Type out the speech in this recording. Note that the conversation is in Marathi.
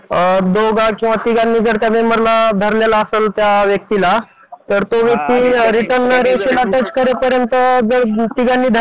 जसं शेतीत करतो बँकेत करतो त्याला पण नोकरी म्हणतात